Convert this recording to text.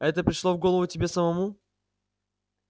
это пришло в голову тебе самому